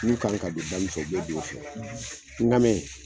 N'u kan ka don da mi fɛ, u bɛ don o fɛ n ka bɛn